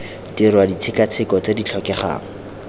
dirwa ditshekatsheko tse di tlhokegang